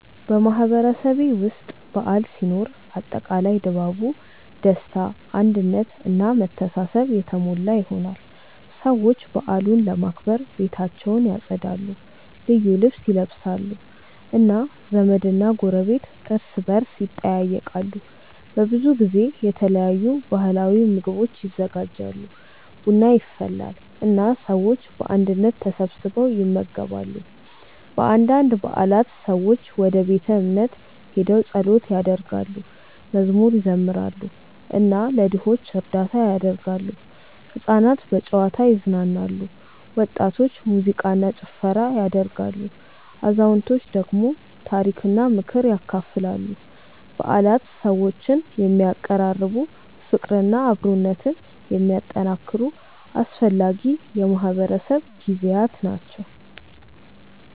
በማህበረሰቤ ውስጥ በዓል ሲኖር አጠቃላይ ድባቡ ደስታ አንድነት እና መተሳሰብ የተሞላ ይሆናል። ሰዎች በዓሉን ለማክበር ቤታቸውን ያጸዳሉ፣ ልዩ ልብስ ይለብሳሉ እና ዘመድና ጎረቤት እርስ በርስ ይጠያየቃሉ። በብዙ ጊዜ የተለያዩ ባህላዊ ምግቦች ይዘጋጃሉ፣ ቡና ይፈላል እና ሰዎች በአንድነት ተሰብስበው ይመገባሉ። በአንዳንድ በዓላት ሰዎች ወደ ቤተ እምነት ሄደው ጸሎት ያደርጋሉ፣ መዝሙር ይዘምራሉ እና ለድሆች እርዳታ ያደርጋሉ። ሕፃናት በጨዋታ ይዝናናሉ፣ ወጣቶች ሙዚቃ እና ጭፈራ ያደርጋሉ፣ አዛውንቶች ደግሞ ታሪክና ምክር ያካፍላሉ። በዓላት ሰዎችን የሚያቀራርቡ፣ ፍቅርና አብሮነትን የሚያጠናክሩ አስፈላጊ የማህበረሰብ ጊዜያት ናቸው።